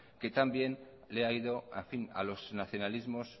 que tan bien le ha ido a los nacionalismos